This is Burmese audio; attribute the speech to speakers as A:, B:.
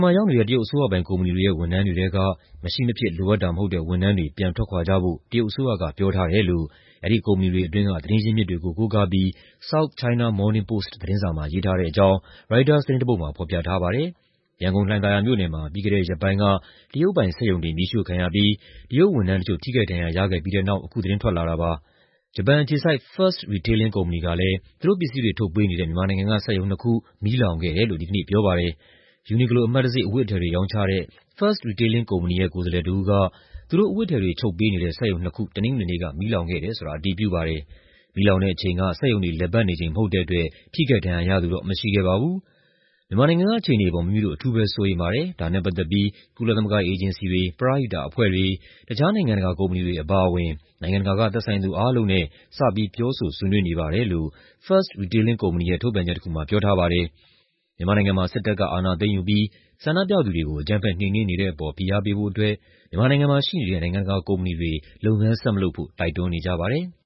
A: မှာ ရောက်နေတဲ့ တရုတ်အစိုးရပိုင်ကုမ္ပဏီတွေရဲ့ ဝန်ထမ်းတွေထဲက မရှိမဖြစ်လိုအပ်တာမဟုတ်တဲ့ ဝန်ထမ်းတွေ ပြန်ထွက်ခွာကြဖို့ တရုတ်အစိုးရက ပြောထားတယ်လို့ အဲဒီကုမ္ပဏီတွေအတွင်းက သတင်းရင်းမြစ်တွေကို ကိုးကားပြီး South China Morning Post သတင်းစာမှာ ရေးထားတဲ့အကြောင်း ရိုက်တာသတင်းတစ်ပုဒ်မှာ ဖော်ပြထားပါတယ်။ ရန်ကုန်၊ လှိုင်သာယာမြို့နယ်မှာ ပြီးခဲ့တဲ့ရက်ပိုင်းက တရုတ်ပိုင်စက်ရုံတွေ မီးရှို့ခံရပြီး တရုတ်ဝန်ထမ်းတချို့ ထိခိုက်ဒဏ်ရာရခဲ့ပြီးတဲ့နောက် အခုသတင်းထွက်လာတာပါ။ ဂျပန်အခြေစိုက် Fast Retailing ကုမ္ပဏီကလည်း သူတို့ပစ္စည်းတွေ ထုတ်ပေးနေတဲ့ မြန်မာနိုင်ငံက စက်ရုံနှစ်ခု မီးလောင်ခဲ့တယ်လို့ ဒီကနေ့ပြောပါတယ်။ Uniqlo အမှတ်တံဆိပ် အဝတ်အထည်တွေ ရောင်းချတဲ့ Fast Retailing ကုမ္ပဏီရဲ့ ကိုယ်စားလှယ်တစ်ဦးက သူတို့အဝတ်အထည်တွေ ချုပ်ပေးနေတဲ့ စက်ရုံနှစ်ခု တနင်္ဂနွေနေ့က မီးလောင်ခဲ့တယ်ဆိုတာ အတည်ပြုပါတယ်။ မီးလောင်တဲ့အချိန်က စက်ရုံတွေ လည်ပတ်နေချိန်မဟုတ်တဲ့အတွက် ထိခိုက်ဒဏ်ရာရသူတော့ မရှိခဲ့ပါဘူး။ "မြန်မာနိုင်ငံက အခြေအနေအပေါ် မိမိတို့ အထူးပဲစိုးရိမ်ပါတယ်။ ဒါနဲ့ပတ်သက်ပြီး ကုလသမဂ္ဂအေဂျင်စီတွေ၊ ပရဟိတအဖွဲ့တွေ၊ တခြား နိုင်ငံတကာကုမ္ပဏီတွေအပါအဝင် နိုင်ငံတကာက သက်ဆိုင်သူအားလုံးနဲ့ စပြီး ပြောဆိုဆွေးနွေးနေပါတယ်။" လို့ Fast Retailing ကုမ္ပဏီရဲ့ ထုတ်ပြန်ချက်တခုမှာ ပြောထားပါတယ်။ မြန်မာနိုင်ငံမှာ စစ်တပ်က အာဏာသိမ်းယူပြီး ဆန္ဒပြသူတွေကို အကြမ်းဖက် နှိမ်နင်းနေတဲ့အပေါ် ဖိအားပေးဖို့အတွက် မြန်မာနိုင်ငံမှာ ရှိနေတဲ့ နိုင်ငံတကာကုမ္ပဏီတွေ
B: လုပ်ငန်းဆက်မလုပ်ဖို့ တိုက်တွန်းနေကြပါတယ်။